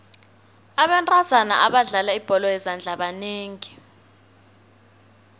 abentazana abadlala ibholo yezandla banengi